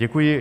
Děkuji.